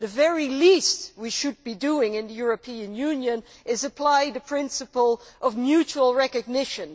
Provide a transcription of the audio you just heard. The very least we should be doing in the European Union is apply the principle of mutual recognition.